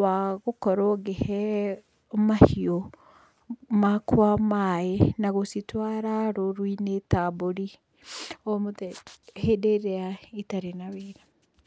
wa gũkorwo ngĩhe mahiũ makwa maĩ na gũcitwara rũru-inĩ ta mbũri hĩndĩ ĩrĩa itarĩ na wĩra.